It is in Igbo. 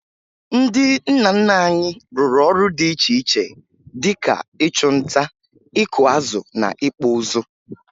Ndị nna nna anyị rụrụ ọrụ dị iche iche dị ka ịchụ nta, ịkụ azụ na ịkpụ ụzụ